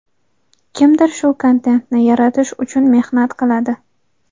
Kimdir shu kontentni yaratish uchun mehnat qiladi.